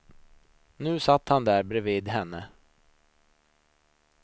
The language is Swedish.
Nu satt han där bredvid henne.